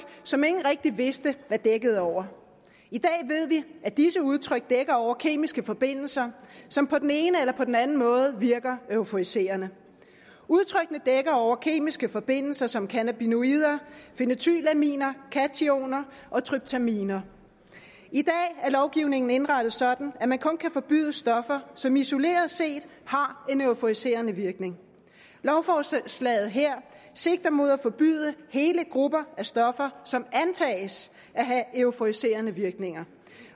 som ingen rigtig vidste hvad dækkede over i dag ved vi at disse udtryk dækker over kemiske forbindelser som på den ene eller den anden måde virker euforiserende udtrykkene dækker over kemiske forbindelser som cannabinoider phenetylaminer cathinoner og tryptaminer i dag er lovgivningen indrettet sådan at man kun kan forbyde stoffer som isoleret set har en euforiserende virkning lovforslaget her sigter mod at forbyde hele grupper af stoffer som antages at have euforiserende virkninger